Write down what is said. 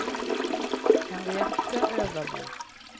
Henriette Øverby